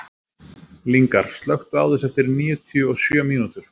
Lyngar, slökktu á þessu eftir níutíu og sjö mínútur.